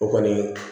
O kɔni